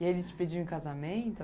E ele se pediu em casamento?